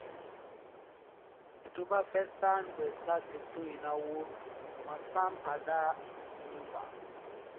tó bá fẹ́ san gbèsè ṣètò ináwó máa san padà nígbà